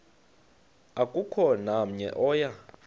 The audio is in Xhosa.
akukho namnye oya